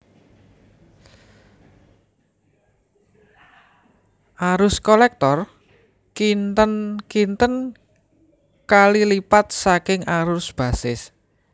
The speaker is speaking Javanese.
Arus kolektor kinten kinten kali lipat saking arus basis